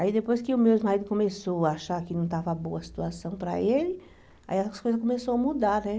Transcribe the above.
Aí depois que o meu marido começou a achar que não estava boa a situação para ele, aí as coisas começou a mudar, né?